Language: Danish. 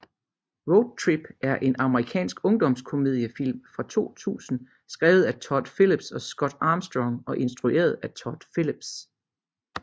Road Trip er en amerikansk ungdomskomediefilm fra 2000 skrevet af Todd Phillips og Scott Armstrong og instrueret af Todd Phillips